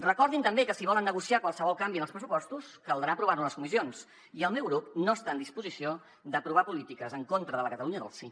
recordin també que si volen negociar qualsevol canvi en els pressupostos caldrà aprovar lo a les comissions i el meu grup no està en disposició d’aprovar polítiques en contra de la catalunya del sí